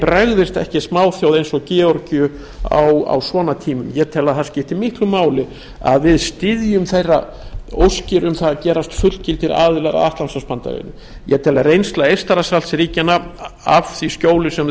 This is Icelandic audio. bregðist ekki smáþjóð eins og georgíu á svona tímum ég tel að það skipti miklu máli að við styðjum óskir þeirra um að gerast fullgildir aðilar að atlantshafsbandalaginu ég tel að reynsla eystrasaltsríkjanna af því skjóli sem þau